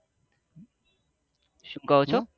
શું કહો છો